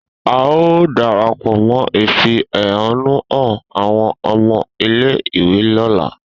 A o darapọ mọ ifi ehonu hàn awọn ọmọ ile-iwe lola